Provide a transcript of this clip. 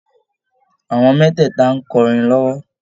Àwọn mẹ́tẹ̀ẹ̀tà n kọrin lọ́wọ́